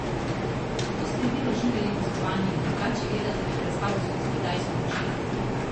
Kako ste vi doživljali gostovanje, drugače gledate na predstavo skozi kitajske oči?